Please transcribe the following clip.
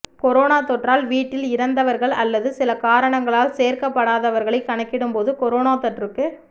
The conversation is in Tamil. கொரோனா தொற்றால் வீட்டில் இறந்தவர்கள் அல்லது சில காரணங்களால் சேர்க்கப்படாதவர்களை கணக்கிடும் போது கொரோனா தொற்றுக்கு